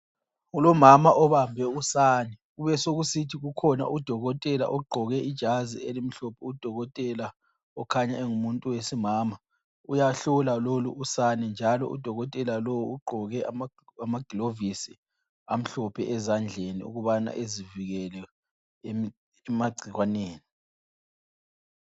Kulomama obambe usane, kubesokusithi kukhona udokotela ogqqoke ijazi elimhlophe. Udokotela okhanya engumuntu wesimama uyahlola lolu usane njalo udokotela lowu ugqoke ama glovisi amhlophe ezandleni ukubana ezivikele emagcikwaneni.